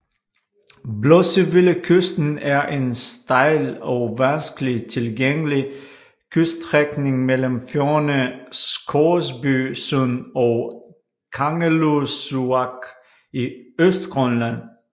Blossevillekysten er en stejl og vanskeligt tilgængelig kyststrækning mellem fjordene Scoresby Sund og Kangerlussuaq i Østgrønland